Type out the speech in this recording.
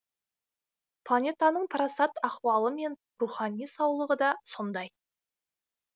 планетаның парасат ахуалы мен рухани саулығы да сондай